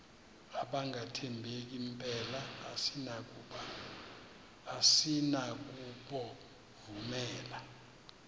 abangathembeki mpela asinakubovumela